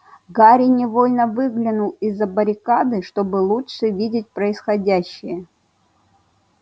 гарри невольно выглянул из-за баррикады чтобы лучше видеть происходящее